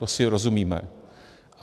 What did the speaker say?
To si rozumíme.